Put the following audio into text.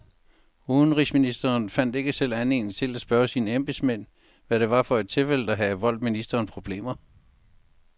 Udenrigsministeren fandt ikke selv anledning til at spørge sine embedsmænd, hvad det var for et tilfælde, der havde voldt ministeriet problemer.